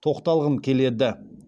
тоқталғым келеді